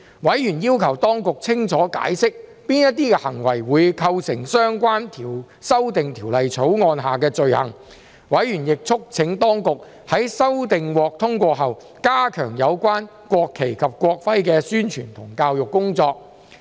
委員要求當局清楚解釋哪些行為會構成相關的修訂條例草案下的罪行，委員亦促請當局在修訂獲通過後加強有關國旗及國徽的宣傳和教育工作。